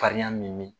Fariya min mi